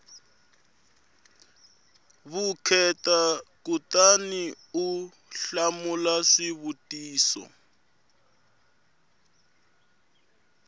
vukheta kutani u hlamula swivutiso